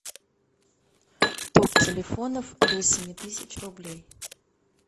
топ телефонов до семи тысяч рублей